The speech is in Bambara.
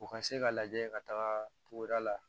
U ka se ka lajɛ ka taga togoda la